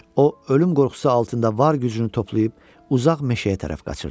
O ölüm qorxusu altında var gücünü toplayıb uzaq meşəyə tərəf qaçırdı.